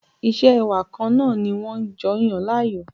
Isẹ́ ẹwà kan náà ni wọ́n jọ yàn láàyò